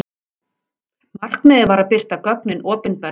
Markmiðið var að birta gögnin opinberlega.